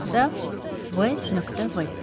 Kağızda V.V.